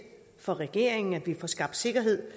for regeringen at vi får skabt sikkerhed